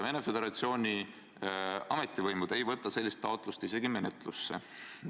Venemaa Föderatsiooni ametivõimud ei võta sellist taotlust isegi menetlusse.